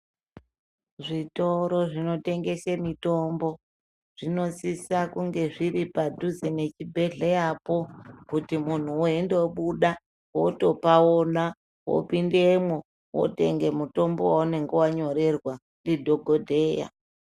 Zvitoro zvinotengese mutombo zvinosisa kunge zviri padhuze nechibhedhleyapo kuti muntu weindobuda wotopaona wopindemwo wotenge mutombo weunenge wanyorerwa ndidhokodheya.